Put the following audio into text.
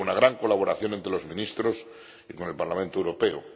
Hubo una gran colaboración entre los ministros y con el Parlamento Europeo.